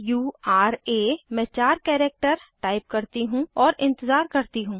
सुरा मैं चार कैरेक्टर टाइप करती हूँ और इंतज़ार करती हूँ